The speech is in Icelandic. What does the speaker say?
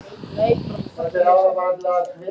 Lillý: Eru þið búnir að undirbúa þetta lengi?